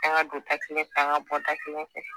an ka don da kelen fɛ an ka bɔ da kelen fɛ